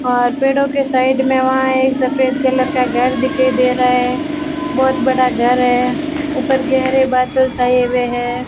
और पेड़ों के साइड में वहां एक सफेद कलर का घर दिखाई दे रहा है बहुत बड़ा घर है ऊपर गहरे बादल छाए हुए है।